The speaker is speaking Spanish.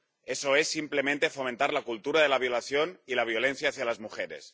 Eso es simplemente fomentar la cultura de la violación y la violencia contra las mujeres.